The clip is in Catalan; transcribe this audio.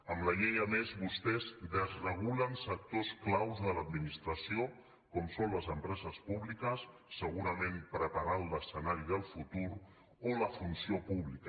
amb la llei a més vostès desregulen sectors clau de l’administració com són les empreses públiques segurament preparant l’escenari del futur o la funció pública